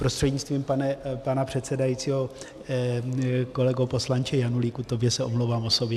Prostřednictvím pana předsedajícího kolego poslanče Janulíku, tobě se omlouvám osobně.